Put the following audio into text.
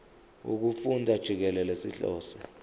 wokufunda jikelele sihlose